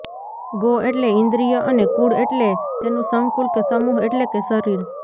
go એટલે ઈન્દ્રિય અને કુળ એટલે તેનું સંકુલ કે સમૂહ એટલે કે શરીર